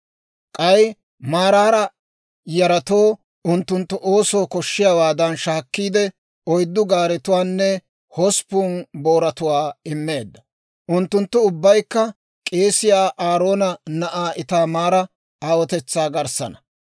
K'ay Maraara yaratoo unttunttu oosoo koshshiyaawaadan shaakkiide, oyddu gaaretuwaanne hosppun booratuwaa immeedda. Unttunttu ubbaykka k'eesiyaa Aaroona na'aa Itaamaara aawotetsaa garssaana.